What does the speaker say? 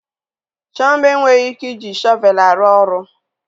Chioma enweghị ike iji shọvel aru oru